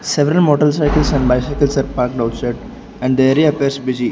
several motorcycles and bicycles are parked outside and the area appears busy.